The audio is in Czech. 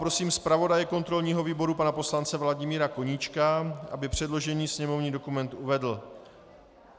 Prosím zpravodaje kontrolního výboru pana poslance Vladimíra Koníčka, aby předložený sněmovní dokument uvedl.